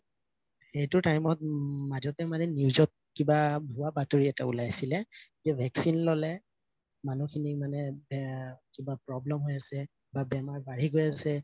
সেইটো time মাজতে মানে news কিবা ভুৱা বাতৰি এটা উলাইছিলো vaccine ললে মানুহখিনি মানে এ কিবা problem হয় আছে বা বেমাৰ বা বাঢ়ি গৈ আছে